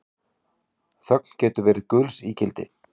Þögn getur verið gulls ígildi